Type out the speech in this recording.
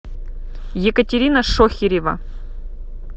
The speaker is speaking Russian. екатерина шохирева